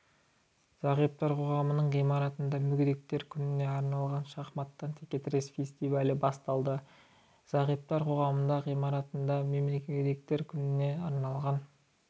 зағиптар қоғамының ғимаратында мүгедектер күніне арналған шахматтан тіке-тірес фестивалі басталады зағиптар қоғамының ғимаратында мүгедектер күніне арналған